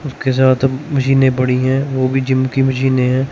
उसके साथ मशीनें बड़ी है वो भी जिम की मशीनें हैं।